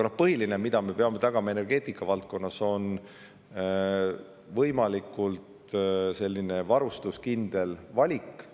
Põhiline, mida me peame energeetikavaldkonnas tagama, on võimalikult varustuskindel valik.